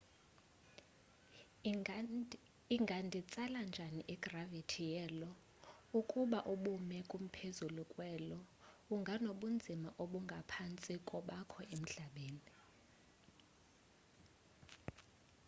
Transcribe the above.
inganditsala njani igravithi ye lo ukuba ubume kumphezulu kwe-io unganobunzima obungaphantsi kobakho emhlabeni